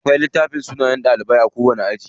Akwai littafin sunayen ɗalibai a kowani aji.